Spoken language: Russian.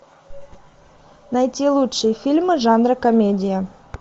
найти лучшие фильмы жанра комедия